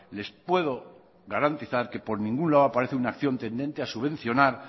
les puedo garantizar que por ningún lado aparece una acción tendente a subvencionar